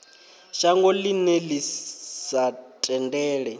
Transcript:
shango ḽine ḽi sa tendele